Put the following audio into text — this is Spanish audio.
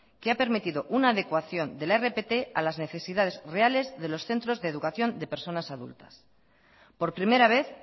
que he permitido una adecuación de la rpt a las necesidades reales de los centros de educación de personas adultas por primera vez